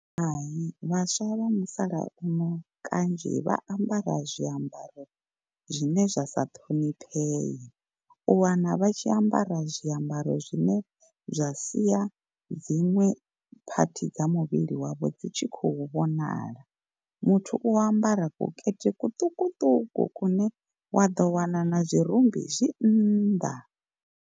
Hai vhaswa vha musalauno kanzhi vha ambara zwiambaro zwine zwa sa ṱhoniphee. U wana vha tshi ambara zwiambaro zwine zwa sia dziṅwe phathi dza muvhili wavho dzi tshi khou vhonala. Muthu u ambara kukete kuṱukuṱuku kune wa ḓo wana na zwirumbi zwi nnḓa.